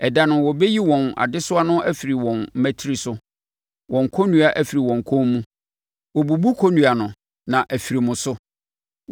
Ɛda no, wɔbɛyi wɔn adesoa no afiri wo mmatire so; wɔn kɔnnua afiri wo kɔn mu; wɔbubu kɔnnua no na afiri mo so.